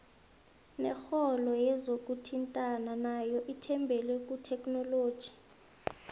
nekoro yezokuthintana nayo ithembele kuthekhinoloji